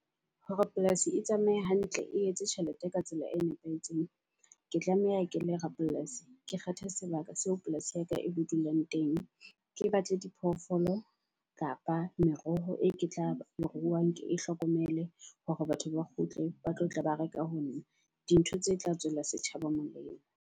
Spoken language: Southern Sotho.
Hore polasi e tsamaye hantle, e etse tjhelete ka tsela e nepahetseng. Ke tlameha ke le rapolasi, ke kgethe sebaka seo polasi ya ka e bo dulang teng. Ke batle di phoofolo kapa meroho e ke tla ruang ke e hlokomele. Hore batho ba kgutle ba tlo tla ba reka ho nna. Dintho tse tla tswela setjhaba molemo.